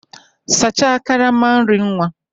Sachaa karama nri nwa!